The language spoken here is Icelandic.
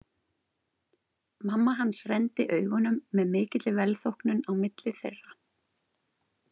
Mamma hans renndi augunum með mikilli velþóknun á milli þeirra.